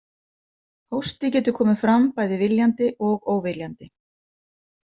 Hósti getur komið fram bæði viljandi og óviljandi.